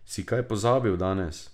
Si kaj pozabil danes?